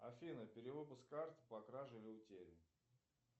афина перевыпуск карт по краже или утере